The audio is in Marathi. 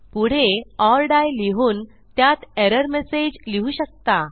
पुढे ओर डाई लिहून त्यात एरर मेसेज लिहू शकता